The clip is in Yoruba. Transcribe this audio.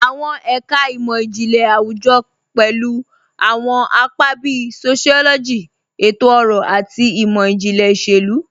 Awọn ẹka imọ-jinlẹ awujọ pẹlu awọn apa bíì sociology, ètò-ọrọ, àti imọ-jinlẹ iṣẹ̀lu.